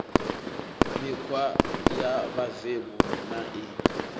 mikhwa ya vhuvemu na i